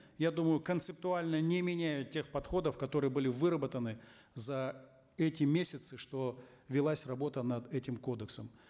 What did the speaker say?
я думаю концептуально не меняют тех подходов которые были выработаны за эти месяцы что велась работа над этим кодексом